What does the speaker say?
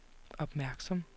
opmærksom